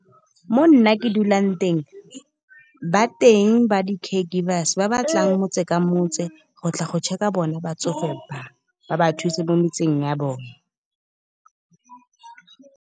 Mo nna ke dulang teng, ba teng ba di-care givers, ba ba tlang motse ka motse, go tla go check-a bona batsofe ba. Ba ba thuse mo metseng ya bone.